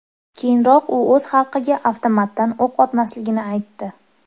Keyinroq u o‘z xalqiga avtomatdan o‘q otmasligini aytdi .